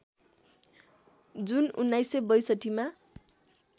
जुन १९६२ मा